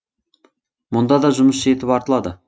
мұнда да жұмыс жетіп артылады